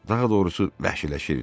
Daha doğrusu vəhşiləşirdi.